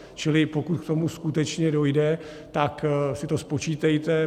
Čili pokud k tomu skutečně dojde, tak si to spočítejte.